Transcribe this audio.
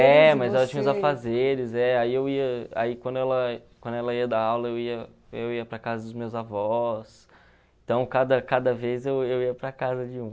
É, mas ela tinha os afazeres, é, aí eu ia aí quando ela quando ela ia dar aula eu ia eu ia para casa dos meus avós, então cada cada vez eu eu ia para casa de um.